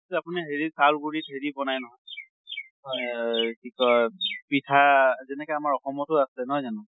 আপোনি হেৰি চউল গুৰীত হেৰি বনায় নহয় অহ কি কয় পিঠা যেনেকে আমাৰ অসমতো আছে নহয় জানো?